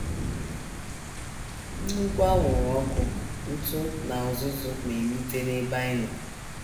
Nnukwu anwụrụ ọkụ, ntụ, na uzuzu na - enute n’ebe anyị nọ.